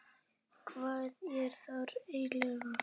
Lára Ómarsdóttir: Jarðhlaup, hvað er það eiginlega?